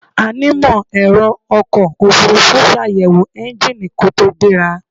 Onímọ̀-ẹ̀rọ ọkọ̀ ofurufú ṣàyẹ̀wò ẹ́ńgíìnì kó tó gbéra.